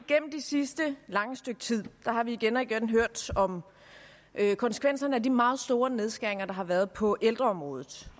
gennem det sidste lange stykke tid har vi igen og igen hørt om konsekvenserne af de meget store nedskæringer der har været på ældreområdet